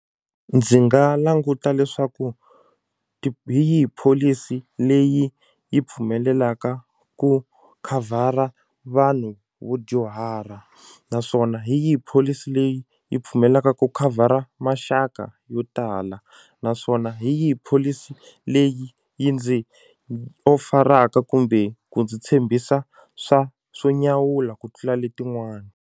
Ndzi nga languta leswaku hi yi pholisi leyi yi pfumelelaka ku khavhara vanhu vo dyuhara naswona hi yihi pholisi leyi yi pfumelaka ku khavhara maxaka yo tala naswona hi yihi pholisi leyi yi ndzi kumbe ku ndzi tshembisa swa swo nyawula ku tlula letin'wana.